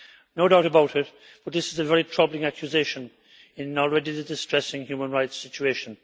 No doubt about it, but this is a very troubling accusation in an already distressing human rights situation.